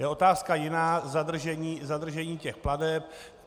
Je otázka jiná zadržení těch plateb.